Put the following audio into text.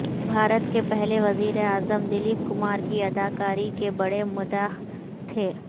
بھارت کے پہلے وزیر اعظم دلیپ کمار کی اداکاری کے بڑے مداح تھے